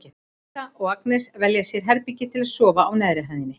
Edda og Agnes velja sér herbergi til að sofa í á neðri hæðinni.